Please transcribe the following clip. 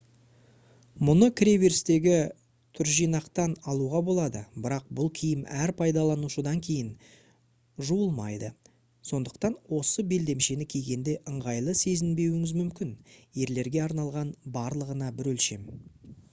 мұны кіре берістегі түржинақтан алуға болады бірақ бұл киім әр пайдаланушыдан кейін жуылмайды сондықтан осы белдемшені кигенде ыңғайлы сезінбеуіңіз мүмкін ерлерге арналған барлығына бір өлшем